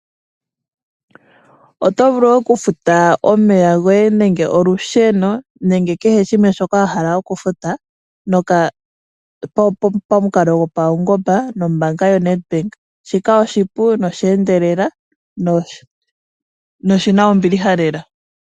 Otovulu oku futa omeya goye ,olusheno nenge kehe shoka wahala okufuta pamukalo gopawungomba nombaanga yo Nedbank. Shika oahipu nosha endelela noshina ombiilha lela.